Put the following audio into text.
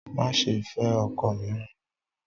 Má ṣe fẹ́ ọkọ mìíràn!